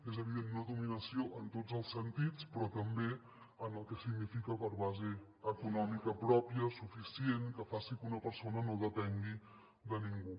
és evident no dominació en tots els sentits però també en el que significa per base econòmica pròpia suficient que faci que una persona no depengui de ningú